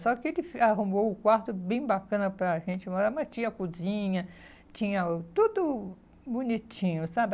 Só que ele arrumou um quarto bem bacana para gente morar, mas tinha cozinha, tinha tudo bonitinho, sabe?